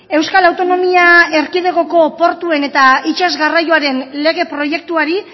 euskal autonomia erkidegoko portuen eta itsas garraioaren lege proiektuari